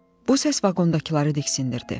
Bu səs vaqondakıları diksindirdi.